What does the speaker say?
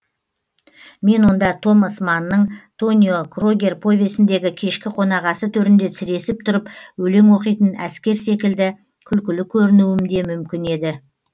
мен онда томас маннның тонио крогер повесіндегі кешкі қонақасы төрінде сіресіп тұрып өлең оқитын әскер секілді күлкілі көрінуім де мүмкін еді